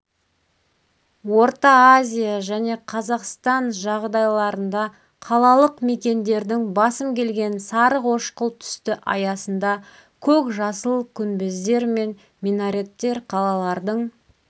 орта азия және қазақстан жағдайларында қалалық мекендердің басым келген сарықошқыл түсті аясында көк-жасыл күнбездер мен минареттер қалалардың